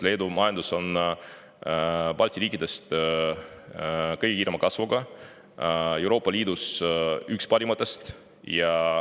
Leedu majandus on kõige kiirema kasvuga majandus Balti riikides, Euroopa Liidus on ta üks parimatest.